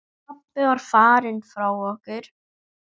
Pabbi var farinn frá okkur.